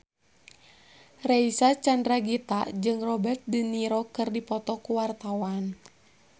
Reysa Chandragitta jeung Robert de Niro keur dipoto ku wartawan